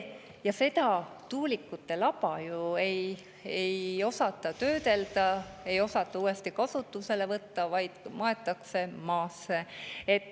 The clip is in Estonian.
Ja tuuliku laba ju ei osata töödelda, ei osata uuesti kasutusele võtta, vaid maetakse maasse.